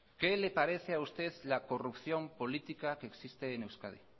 qué le parece a usted la corrupción política que existe en euskadi